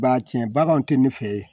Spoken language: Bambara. Ba tiɲɛ baganw tɛ nin fɛ